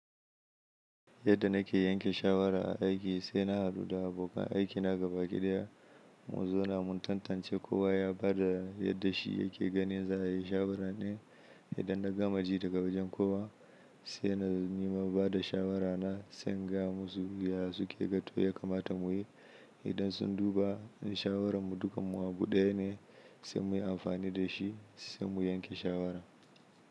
Yadda na ke yanke shawara a aiki sai na haɗu da abokan aikina gabaki ɗaya mun zauna min tantance ko wa ya bada yadda shi yake ganin za'ayi shawara din. Idan na gama ji daga wajen kowa sai na nima bada shawara na sai in gaya musu yaya suke ga to ya kamata mu yi. Idan sun duba in shawaran mu dukan abu ɗaya ne sai muyi amfani da shi sai mu yanke shawara.